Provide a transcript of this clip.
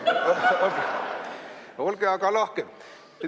Olge aga lahked!